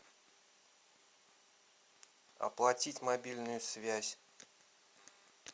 оплатить мобильную связь